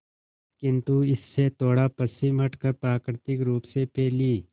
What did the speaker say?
किंतु इससे थोड़ा पश्चिम हटकर प्राकृतिक रूप से फैली